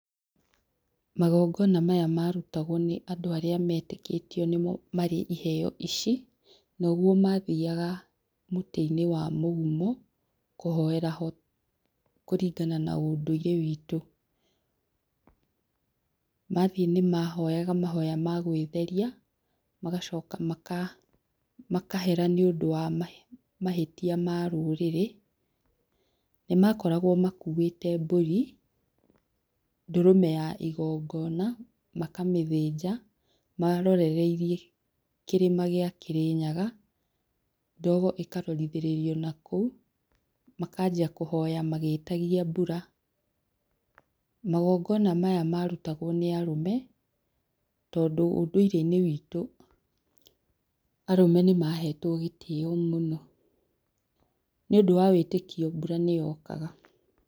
Magongona maya marutagwo nĩ andũ arĩa metĩkĩtio nĩo marĩ iheo ici, noguo mathiaga mũtĩ-inĩ wa mũgumo kũhoera ho kũringana na ũndũire witũ mathiĩ nĩ mahoyaga mahoya ma gwĩtheria ,magacoka maka makahera nĩ ũndũ wa mahĩtia ma rũrĩrĩ, nĩ makoragwo makuĩte mbũri, ndũrũme ya igongona makamĩthĩnja marorereirie kĩrĩma gĩa Kĩrĩnyaga, ndogo ĩkarorithĩrĩrio nakũu makanjia kũhoya magĩtagia mbura magongona maya marutagwo nĩ arũme tondũ ũndũire-inĩ witũ arũme nĩ mahetwo gĩtĩo mũno, nĩ ũndũ wa wĩtĩkio mbura nĩyokaga.